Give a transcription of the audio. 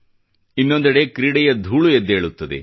ಇನ್ನೊಂದೆಡೆ ಕ್ರೀಡೆಯ ಧೂಳು ಎದ್ದೇಳುತ್ತದೆ